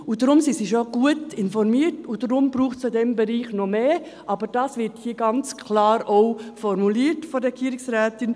Deswegen sind sie schon gut informiert, und deswegen braucht es in diesem Bereich noch mehr, und dies wird hier von der Regierungsrätin auch ganz klar formuliert.